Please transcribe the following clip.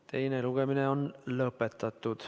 Teine lugemine on lõpetatud.